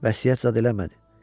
Vəsiyyət zad eləmədi.